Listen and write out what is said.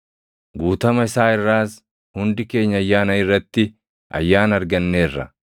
Guutama isaa irraas hundi keenya ayyaana irratti ayyaana arganneerra.